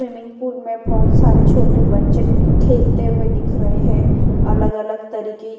swimming pool में बहुत सारे छोटे बच्चे खेलते हुए दिख रहे हैं अलग-अलग तरीके --